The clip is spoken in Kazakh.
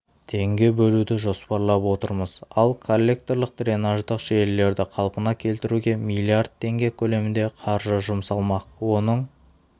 теңге бөлуді жоспарлап отырмыз ал коллекторлық-дренаждық желілерді қалпына келтіруге млрд теңге көлемінде қаржы жұмсалмақ оның